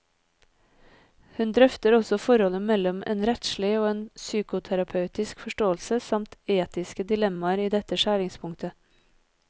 Hun drøfter også forholdet mellom en rettslig og en psykoterapeutisk forståelse, samt etiske dilemmaer i dette skjæringspunktet.